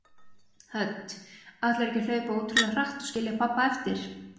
Hödd: Ætlarðu ekki að hlaupa ótrúlega hratt og skilja pabba eftir?